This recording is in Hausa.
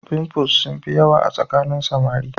pimples sun fi yawa a tsakanin samari